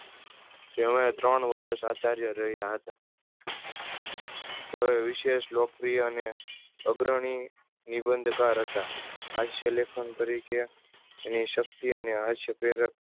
જેમણે તણ વર્ષ આચાર્ય રહ્યા હતા. તેઓએ વિશેસ લોક પ્રિયા અને અગ્રણી નિબંધ કર હતા. હાસ્ય લેખન તરીકે એની શક્તિ અને હાસ્ય પ્રેરક